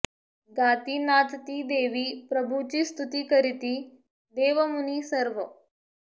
गाती नाचति देवी प्रभुची स्तुति करिति देव मुनि सर्व